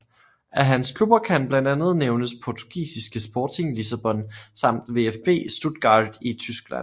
Af hans klubber kan blandt andet nævnes portugisiske Sporting Lissabon samt VfB Stuttgart i Tyskland